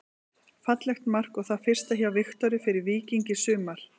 Fallegt mark og það fyrsta hjá Viktori fyrir Víking í sumar.